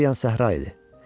Hər yan səhra idi.